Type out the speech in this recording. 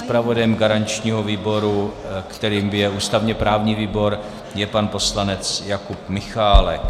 Zpravodajem garančního výboru, kterým je ústavně-právní výbor, je pan poslanec Jakub Michálek.